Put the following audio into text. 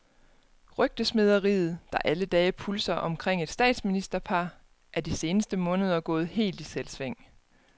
Rygtesmederiet, der alle dage pulser omkring et statsministerpar, er de seneste måneder gået helt i selvsving.